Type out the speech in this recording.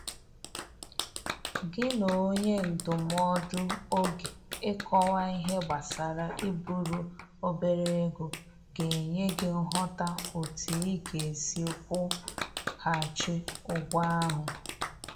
Gị na onye ndụmọdụ oge Ịkọwa ihe gbasara iburu obere ego ga enye gị nghọta otu ị ga-esi kwụ ghaghị ụgwọ ahụ.